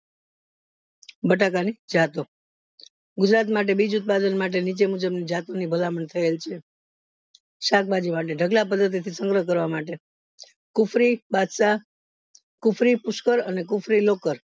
બટાકા ની જતો ગુજરાત માટે બીજ ઉત્પાદન માટે નીચે મુજબ જાત ની ભલામણ થયેલ છે શાકભાજી વળી ઢગલા પદ્ધતિ થી સંગ્રહ કરવા માટે કુફરી બધ્શાહ કુફરી પુષ્કળ અને કુફરી લોકલ